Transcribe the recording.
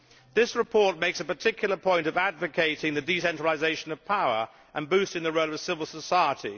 This report makes a particular point of advocating the decentralisation of power and boosting the role of civil society.